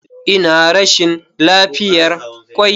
Ina rashin lafiyar kwai.